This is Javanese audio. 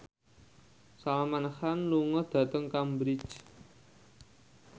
Salman Khan lunga dhateng Cambridge